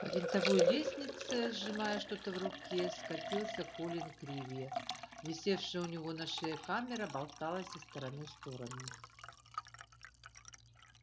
по винтовой лестнице сжимая что-то в руке скатился колин криви висевшая у него на шее камера болталась из стороны в сторону